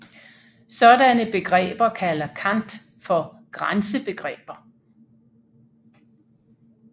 Sådanne begreber kalder Kant for grænsebegreber